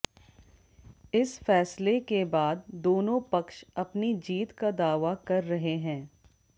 इस फैसले के बाद दोनों पक्ष अपनी जीत का दावा कर रहे हैं